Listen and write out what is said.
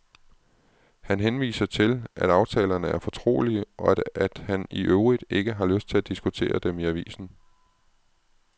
Han henviser til, at aftalerne er fortrolige, og at han i øvrigt ikke har lyst til at diskutere dem i avisen.